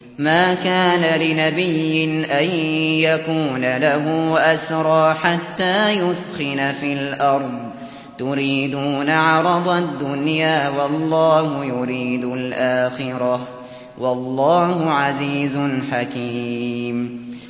مَا كَانَ لِنَبِيٍّ أَن يَكُونَ لَهُ أَسْرَىٰ حَتَّىٰ يُثْخِنَ فِي الْأَرْضِ ۚ تُرِيدُونَ عَرَضَ الدُّنْيَا وَاللَّهُ يُرِيدُ الْآخِرَةَ ۗ وَاللَّهُ عَزِيزٌ حَكِيمٌ